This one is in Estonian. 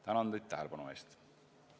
Tänan teid tähelepanu eest!